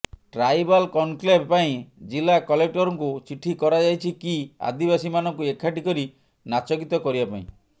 tribal conclave ପାଇଁ ଜିଲ୍ଲା କଲେକ୍ଟରଙ୍କୁ ଚିଠି କରାଯାଇଛି କି ଆଦିବାସୀମାନଙ୍କୁ ଏକାଠି କରି ନାଚଗୀତ କରିବା ପାଇଁ